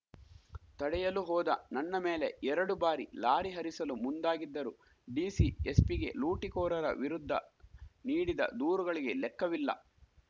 ತಡೆಯಲು ಹೋದ ನನ್ನ ಮೇಲೆ ಎರಡು ಬಾರಿ ಲಾರಿ ಹರಿಸಲು ಮುಂದಾಗಿದ್ದರು ಡಿಸಿ ಎಸ್ಪಿಗೆ ಲೂಟಿಕೋರರ ವಿರುದ್ಧ ನೀಡಿದ ದೂರುಗಳಿಗೆ ಲೆಕ್ಕವಿಲ್ಲ